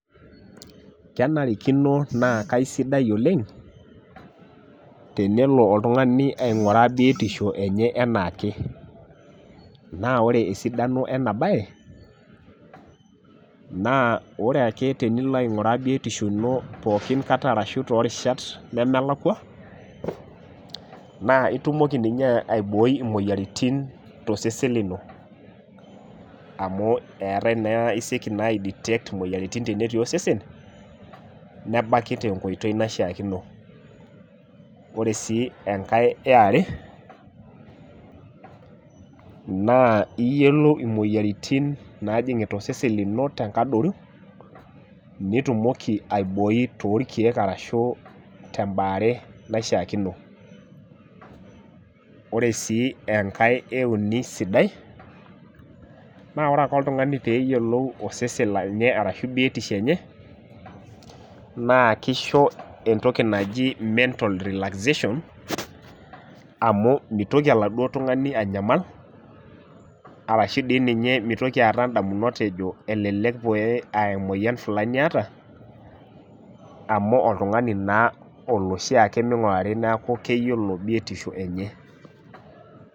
Kenarikino naa kaisidai oleng, tenelo oltungani ainguraa biotisho enye enaake, naaore esidano ena baye, naa ore ake tenilo ainguraa biotisho ino pookin aikata arashu te rishat nemelakwa, naa itumoki ninye aibooi imoyiarritin te osesen lino amu eatae naa esieki naa aiditekt imoyiaritin natii osesen, nebaki te nkoitoi naishakino. Ore si tenkae eare, naa iyolou imoyiaritin naajing'ita osesen lino to nkadoru, netumoki aiboi to irkeek arashu te imbaare naishaakino. Ore sii enkae euni sidai, naa ore ake oltungani peeyilou osesen lenye arashu biotisho enye naa keisho entoki naji mental relaxation amu meitoki eladuo tungani anyamal arashu dei ninye meitoki aata indamunot ejo elelek pee aa emoyian fulani eata amu oltungani naa olashaake eneingurari naaku keyiolo biotisho enye.